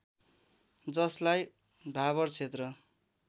जसलाई भावर क्षेत्र